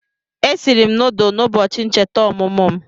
Esiri m nudulu n'ubochi ncheta omumu m